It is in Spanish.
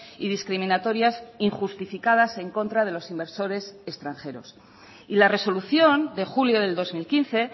y discriminatorias injustificadas en contra de los inversores extranjeros y la resolución de julio del dos mil quince